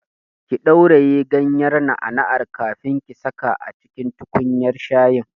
Ki ɗauraye ganyar na'a na'an kafin ki saka a tukunyar shayi!